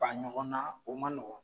Ba ɲɔgɔn na o ma nɔgɔ